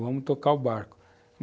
Vamos tocar o barco.